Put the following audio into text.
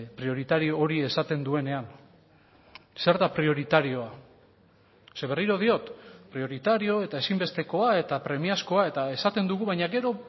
prioritario hori esaten duenean zer da prioritarioa ze berriro diot prioritario eta ezinbestekoa eta premiazkoa eta esaten dugu baina gero